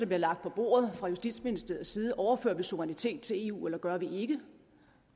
bliver lagt på bordet fra justitsministeriets side overfører vi suverænitet til eu eller gør vi ikke